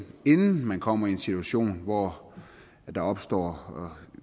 inden man kommer i en situation hvor der opstår